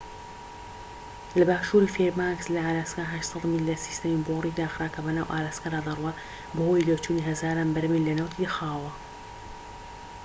لە باشوری فێربانکس لە ئالاسکا، ٨٠٠ میل لە سیستەمی بۆریی داخرا کە بەناو ئالاسکادا دەڕوات بەهۆی لێچوونی هەزاران بەرمیل لە نەوتی خاوەوە